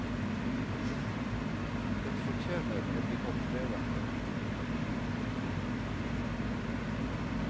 Den fortjener å bli holdt levende.